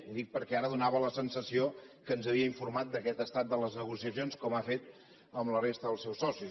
ho dic perquè ara feia la sensació que ens havia informat d’aquest estat de les negociacions com ha fet amb la resta dels seus socis